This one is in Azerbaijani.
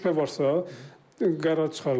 Şübhə varsa qərar çıxarılıbdır.